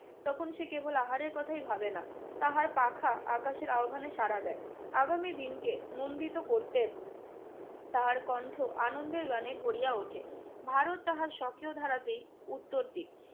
তখন সে কেবল আহারের কথাই ভাবে না, তাহার পাখা আকাশের আহ্বানে সাড়া দেয়। আগামী দিনকে নন্দিত করতে তাহার কণ্ঠ আনন্দের গানে ভরিয়া ওঠে। ভারত তাহার সক্রিয় ধারাতেই উত্তর দিক।